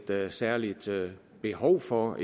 noget særligt behov for